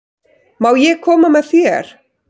Má ég koma með þér?